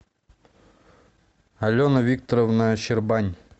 алена викторовна щербань